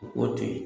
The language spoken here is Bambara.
U k'o to yen